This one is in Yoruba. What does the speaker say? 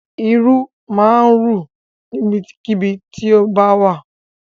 Irú máa rù níbikíbi tó bá wà.